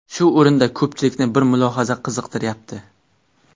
Shu o‘rinda ko‘pchilikni bir mulohaza qiziqtiryapti.